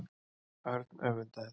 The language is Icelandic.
Örn öfundaði þau.